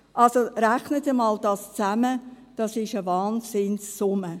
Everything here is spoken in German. Also, rechnen Sie dies einmal zusammen, das ist eine Wahnsinnssumme.